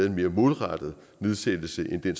en mere målrettet nedsættelse end den